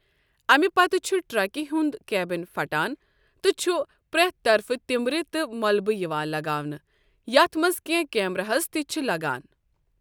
اَمہِ پتہٕ چھُ ٹرکہِ ہُنٛد کیبن پھٹان تہٕ چھُ پرٛٮ۪تھ طرفہٕ تِمبرِ تہٕ ملبہٕ یِوان لگاونہٕ، یَتھ منٛز کینٛہہ کیمراہَس تہِ چھِ لگان۔